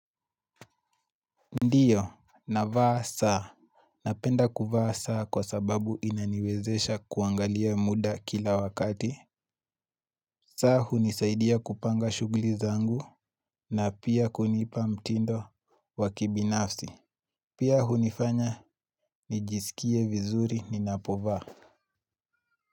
Ndiyo, navaa saa. Napenda kuvaa saa kwa sababu inaniwezesha kuangalia muda kila wakati. Saa hunisaidia kupanga shuguli zangu na pia kunipa mtindo wakibinafsi. Pia hunifanya, nijisikie vizuri ninapovaa.